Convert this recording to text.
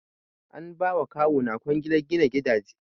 An ba ma kawuna kwangilar gina gidaje.